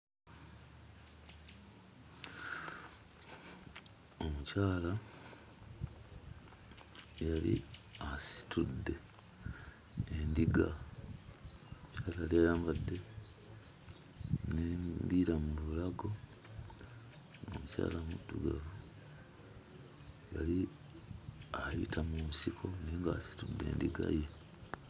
Omukyala yali asitudde endiga. Alabika yali ayambadde n'embira mu bulago, nga mukyala muddugavu. Yali ayita mu nsiko naye ng'asitudde endiga ye.